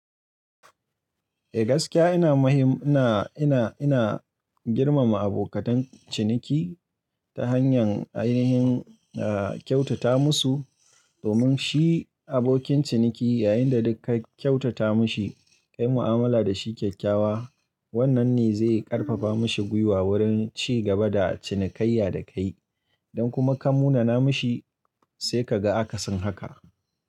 Eh gaskiya ina mahim ina, ina, ina girmama abokatan ciniki ta hanyar ainihin, ah kyautata musu domin shi abokin ciniki yayinda duk ka kyautata mishi, ka yi mu'amala da shi kyakkyawa wannan ne zai karfafa mishi gwiwa wurin ci gaba da cinikayya da kai don kuma ka munana mashi sai ka ga aka sin haka.